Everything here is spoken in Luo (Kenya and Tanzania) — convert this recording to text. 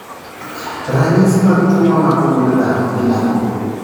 Ranyisi mag tuo mamako gund dhano gin ang'o?